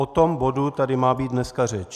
O tom bodu tady má být dneska řeč.